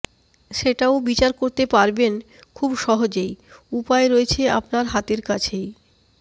সেটাও বিচার করতে পারবেন খুব সহজেই উপায় রয়েছে আপনার হাতের কাছেই